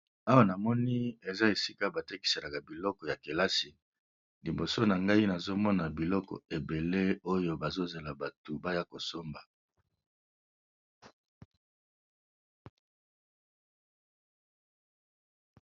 Awa na moni eza esika batekiselaka biloko ya kelasi liboso na ngai nazomona biloko ebele oyo bazozela batu baya kosomba.